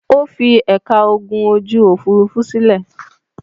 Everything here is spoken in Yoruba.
Ó fi ẹ̀ka ogun ojú-òfurufú sílẹ̀?